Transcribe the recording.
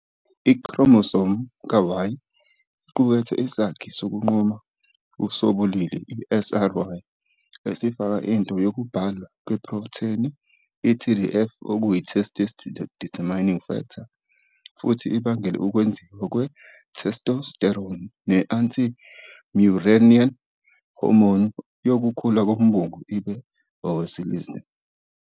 I-chromosome ka-Y iqukethe isakhi sokunquma sobulili, i-SRY, esifaka into yokubhalwa kweprotheni i-TDF, testis determining factor, futhi ibangele ukwenziwa kwe- testosterone ne- anti-Müllerian hormone yokukhula kombungu ibe owesilisa.